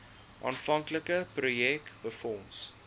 aanvanklike projek befonds